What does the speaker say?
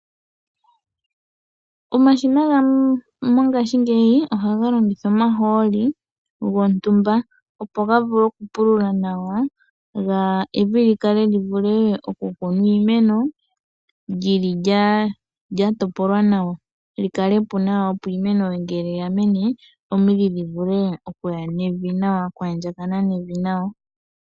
Omashina gamwe mongaashi ngeyi ohaga longitha omahooli gontumba opo ga vule okupulula nawa, opo evi li kale li vule oku kunwa iimeno, lyi li lyatopolwa nawa. Li kale po nawa, opo iimene ngele yamene, omidhi dhi vule okuya nevi nawa, okwaandjakana nevi nawa.